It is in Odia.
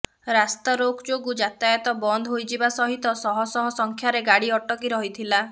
ରାସ୍ତାରୋକ ଯୋଗୁ ଯାତାୟତ ବନ୍ଦ ହୋଇଯିବା ସହିତ ଶହ ଶହ ସଂଖ୍ୟାରେ ଗାଡ଼ି ଅଟକି ରହିଥିଲା